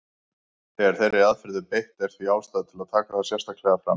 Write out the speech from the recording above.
Þegar þeirri aðferð er beitt er því ástæða til að taka það sérstaklega fram.